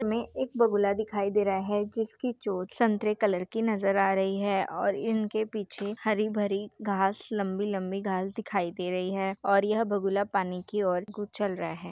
चित्र में एक बगुला दिखाई दे रहा है जिसकी चोच संतरे कलर की नज़र आ रही है और इन के पिचे हरी-भरी घास लम्बी लम्बी घास दिखाई दे रही है और यह बगुला पानी की ओर उछाल रहे हैं।